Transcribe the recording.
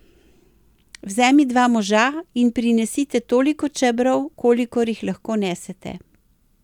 Vzemi dva moža in prinesite toliko čebrov, kolikor jih lahko nesete.